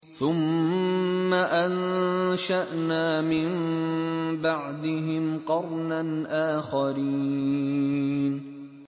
ثُمَّ أَنشَأْنَا مِن بَعْدِهِمْ قَرْنًا آخَرِينَ